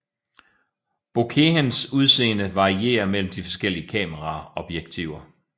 Bokehens udseende varierer mellem de forskellige kameraobjektiver